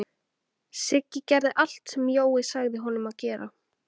Siggi gerði allt sem Jói sagði honum að gera.